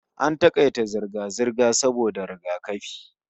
AN takaita zirga-zirga saboda rigakafi